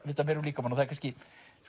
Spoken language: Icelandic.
vita meira um líkamann og það er kannski